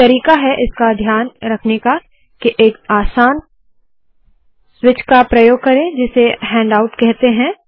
एक तरीका है इसका ध्यान रखने का के एक आसान स्विच का प्रयोग करे जिसे हैण्डआउट कहते है